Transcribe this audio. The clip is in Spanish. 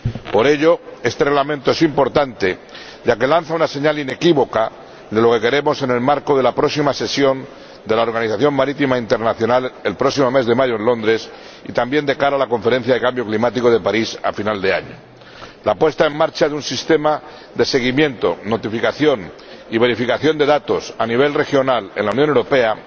Por ello, este Reglamento es importante, ya que lanza una señal inequívoca de lo que queremos en el marco de la próxima sesión de la Organización Marítima Internacional, que se celebrará el próximo mes de mayo en Londres, y también de cara a la Conferencia del Cambio Climático de París, a final de año. La puesta en marcha de un sistema de seguimiento, notificación y verificación de datos a nivel regional en la Unión Europea,